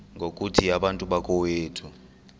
ngokuthi bantu bakowethu